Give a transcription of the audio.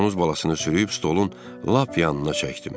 Donuz balasını sürüyüb stolun lap yanına çəkdim.